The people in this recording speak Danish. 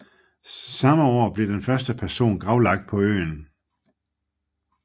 Samme år blev den første person gravlagt på øen